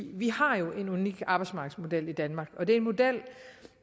vi har jo en unik arbejdsmarkedsmodel i danmark og det er en model